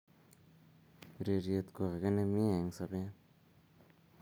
urerie ko ake nemie eng sobee.